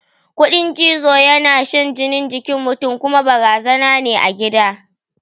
Ƙudin cizo yana shan jini jikin mutun kuma barazana ne a gida